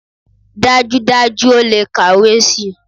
Dájúdájú, ó le kàwé si.